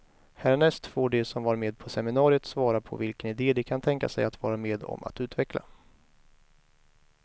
Härnäst får de som var med på seminariet svara på vilken ide de kan tänka sig att vara med om att utveckla.